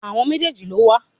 Àwọn méjèèjì ló wà.